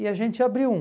E a gente abriu um.